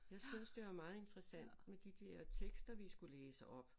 Jeg synes det var meget interessant med de dér tekster vi skulle læse op